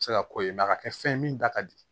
Se ka ko ye a ka kɛ fɛn ye min da ka di